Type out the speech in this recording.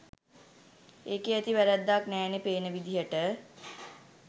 ඒකේ ඇති වැ‍රැද්දක් නෑනේ පේන විදිහට